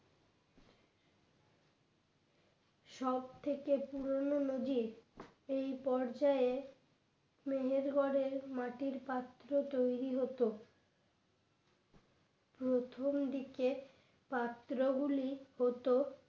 সবথেকে পুরনো নদীর এই পর্যায়ে মেহেরগড়ের মাটির পাত্র তৈরি হতো প্রথমদিকে পাত্র গুলি হত